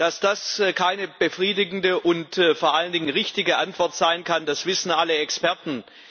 Dass das keine befriedigende und vor allen Dingen richtige Antwort sein kann, das wissen alle Experten.